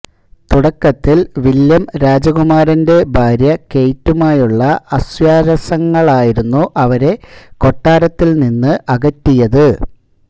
തുടക്കത്തിൽ വില്യം രാജകുമാരന്റെ ഭാര്യ കെയ്റ്റുമായുള്ള അസ്വാരസ്യങ്ങളായിരുന്നു അവരെ കൊട്ടാരത്തിൽനിന്ന് അകറ്റിയത്